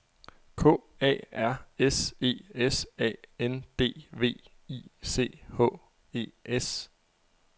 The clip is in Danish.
K A R S E S A N D W I C H E S